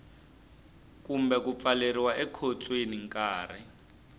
kumbe ku pfaleriwa ekhotsweni nkarhi